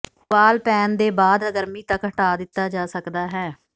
ਉਬਾਲ ਪੈਨ ਦੇ ਬਾਅਦ ਗਰਮੀ ਤੱਕ ਹਟਾ ਦਿੱਤਾ ਜਾ ਸਕਦਾ ਹੈ